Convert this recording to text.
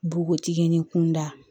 Npogotiginin kunda